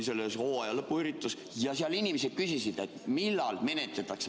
Seal inimesed küsisid, millal menetletakse.